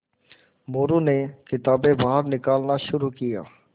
मोरू ने किताबें बाहर निकालना शुरू किया